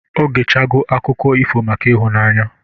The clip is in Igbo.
Ogechego akụkọ ifo maka ịhụnanya